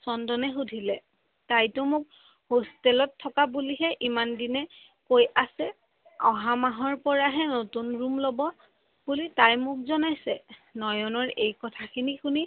চন্দনে সোধিলে তাইটো মোক হোস্তেলত থকা বুলিহে ইমান দিনে কৈ আছে, অহা মাহৰ পৰাহে নতুন ৰুম লব বুলি তাই মোক জনাইছে, নয়নৰ এই কথাখিনি শুনি চন্দনে সোধিলে